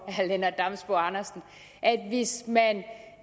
at